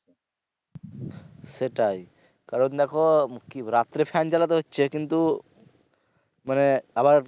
সেটাই কারণ দেখো কি বলব রাত্রে fan জালাতে কিন্তু মানে আবার।